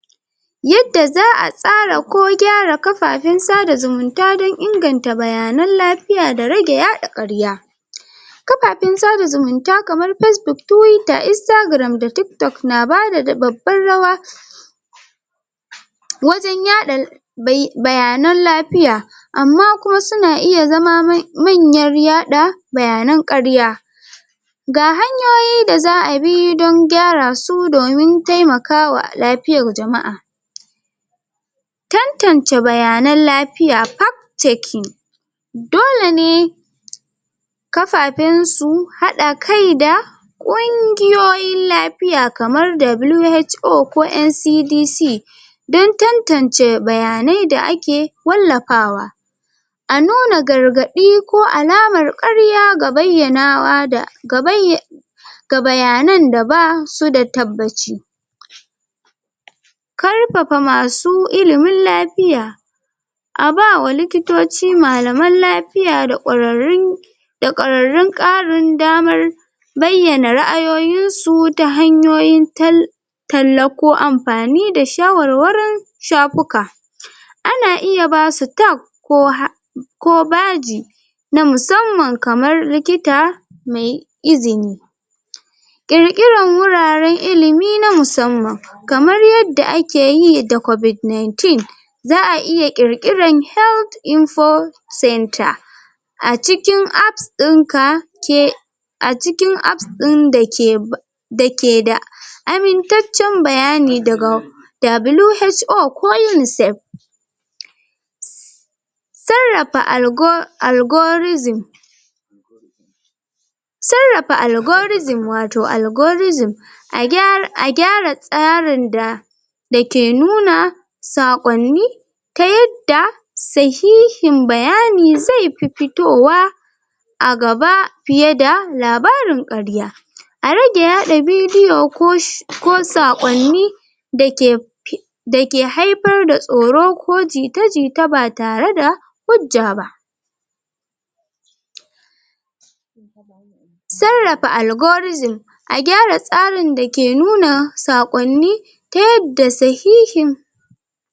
Yadda za a tsara ko gyara kafafen sada zumunta don inganta bayanan lafiya da rage yaɗa ƙarya kafafen sada zumunta kamar Facebook Twitter, Instagram da TikTok na bada babbar rawa wajen yaɗa bayanan lafiya amma kuma su na iya zama manyar yaɗa bayanan ƙarya ga hanyoyi da za a bi don gyara su domin taimakawa lafiyar jama'a tantance bayanan lafiya fact checking dole ne kafafen su haɗa kai da ƙungiyoyin lafiya kamar WHO ko NCDC don tantance bayanai da ake wallafawa a nuna gargaɗi ko alamar ƙarya ga bayyanawa da? ga bayanan da ba su da tabbaci karfafa masu ilimin lafiya a ba wa likitoci malaman lafiya da ƙwararrun da ƙwararrun ƙarin damar bayyana ra'ayoyinsu ta hanyoyin? talla ko amfani da shawarwarin shafuka ana iya ba su tag ko? ko baji na musamman kamar likita mai izini ƙirƙiran wuraren ilimi na musamman kamar yadda ake yi da Covid-19 za a iya ƙirƙiran Health Info Centre a cikin Apps ɗinka? a cikin Apps ɗin dake dake da amintaccen bayani daga WHO ko UNICEF sarrafa um algorithim sarrafa algorithim wato algorithim a gyara tsarin da dake nuna saƙonni ta yada sahihin bayani zai fi fitowa a gaba fiye da labarin ƙarya a rage yaɗa bidiyo ko saƙonni dake dake haifar da tsoro ko jita-jita ba tare da hujja ba sarrafa algorithim a gyara tsarin dake nuna saƙonni ta yadda sahihin